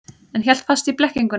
En hélt fast í blekkinguna.